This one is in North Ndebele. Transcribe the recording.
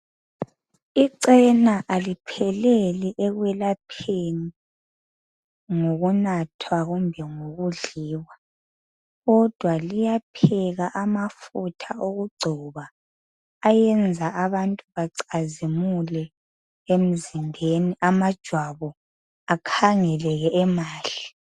Icena alipheleli ekwelapheni ngokunathwa kumbe ngokudliwa kodwa liyapheka amafutha okugcoba ayenza abantu bacwazimule emzimbeni amajwabu akhangeleke emahle.